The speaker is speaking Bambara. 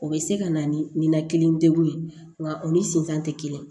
O bɛ se ka na ni ninakili degun ye nka o ni sentan tɛ kelen ye